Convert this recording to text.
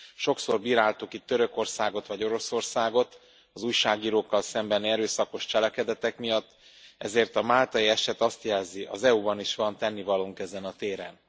Sokszor bíráltuk itt Törökországot vagy Oroszországot az újságírókkal szembeni erőszakos cselekedetek miatt, ezért a máltai eset azt jelzi, az EU ban is van tennivalónk ezen a téren.